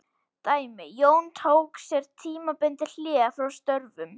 Dæmi: Jón tók sér tímabundið hlé frá störfum.